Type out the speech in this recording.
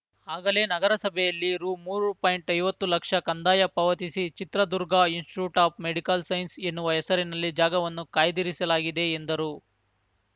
ಆಗಲೇ ನಗರಸಭೆಯಲ್ಲಿ ರುಮೂರು ಪಾಯಿಂಟ್ಐವತ್ತುಲಕ್ಷ ಕಂದಾಯ ಪಾವತಿಸಿ Chitradurga institute of medical science ಎನ್ನುವ ಹೆಸರಿನಲ್ಲಿ ಜಾಗವನ್ನು ಕಾಯ್ದಿರಿಸಲಾಗಿದೆ ಎಂದರು